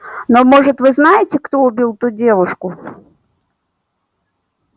но может вы знаете кто убил ту девушку